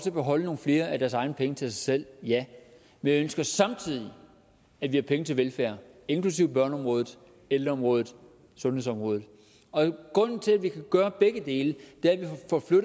at beholde nogle flere af deres egne penge til sig selv ja men jeg ønsker samtidig at vi har penge til velfærd inklusive børneområdet ældreområdet sundhedsområdet og grunden til at vi kan gøre begge dele